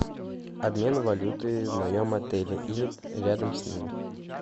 обмен валюты в моем отеле или рядом с ним